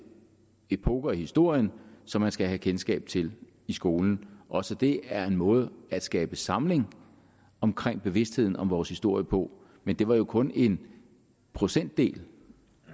epoker i historien som man skal have kendskab til i skolen også det er en måde at skabe samling omkring bevidstheden om vores historie på men det var jo kun en procentdel